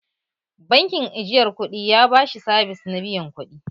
Bankin ajiyar kuɗi ya ba shi sabis na biyan kuɗi